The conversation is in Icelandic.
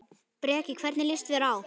Breki: Hvernig líst þér á?